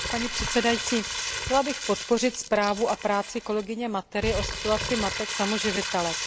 Paní předsedající, chtěla bych podpořit zprávu a práci kolegyně Matery, pokud jde o situaci matek samoživitelek.